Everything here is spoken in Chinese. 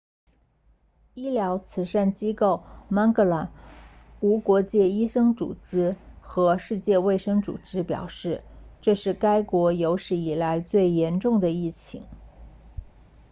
医疗慈善机构 mangola 无国界医生组织和世界卫生组织表示这是该国有史以来最严重的疫情